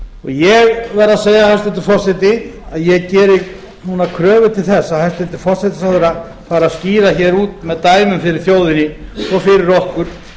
ég verð að segja hæstvirtur forseti að ég geri núna kröfu til þess að hæstvirtur forsætisráðherra fari að skýra hér út með dæmum fyrir þjóðinni og fyrir okkur